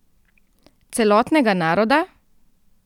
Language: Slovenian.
Celotnega naroda?